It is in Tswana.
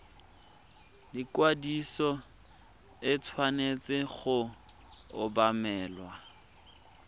ikwadiso e tshwanetse go obamelwa